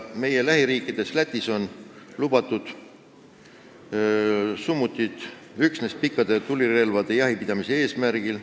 Meie lähiriigis Lätis on summutid lubatud üksnes pikkadel tulirelvadel jahipidamise eesmärgil.